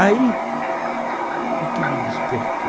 Aí, o que me despertou?